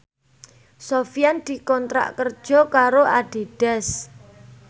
Sofyan dikontrak kerja karo Adidas